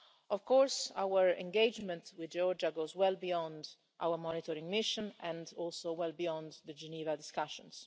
Of course, our engagement with Georgia goes well beyond our monitoring mission and also well beyond the Geneva discussions.